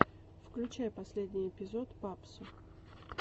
включай последний эпизод папсо